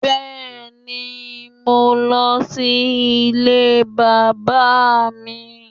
Bẹ́ẹ̀ni mo lọ sí Ilé bàbá mi